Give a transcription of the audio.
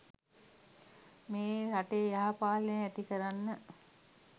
මේ රටේ යහපාලනය ඇති කරන්න.